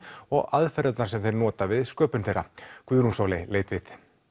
og aðferðirnar sem þeir nota við sköpunina Guðrún Sóley leit við